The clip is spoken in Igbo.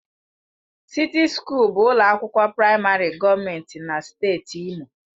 Sịti Sukuul bụ ụlọ akwụkwọ praịmarị gọọmentị na steeti Imo.